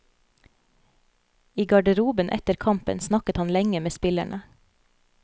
I garderoben etter kampen snakket han lenge med spillerne.